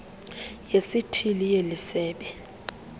yesithili yeli sebe